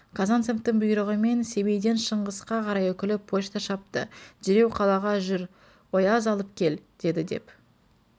казанцевтің бұйрығымен семейден шыңғысқа қарай үкілі почта шапты дереу қалаға жүр ояз алып кел деді деп